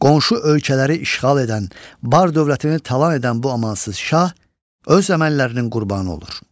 Qonşu ölkələri işğal edən, Bar dövlətini talan edən bu amansız şah öz əməllərinin qurbanı olur.